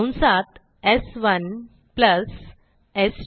कंसात स्1 प्लस स्2